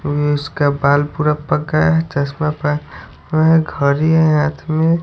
इस का बाल पूरा पक गया है चश्मा पहना हुआ है घड़ी है हाथ में--